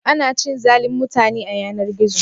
Ana cin zalin mutane a yanar-gizo?